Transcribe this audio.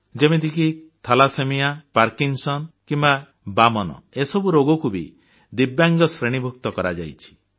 ଯେମିତିକି thalassemia Parkinson କିମ୍ବା ବାମନ ଏସବୁ ରୋଗକୁ ବି ଦିବ୍ୟାଙ୍ଗ ଶ୍ରେଣୀଭୁକ୍ତ କରାଯାଇଛି